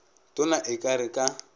tona e ka re ka